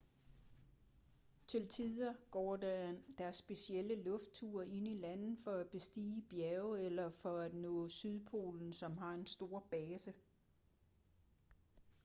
til tider går der specielle luftture ind i landet for at bestige bjerge eller for at nå sydpolen som har en stor base